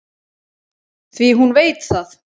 Því hún veit það.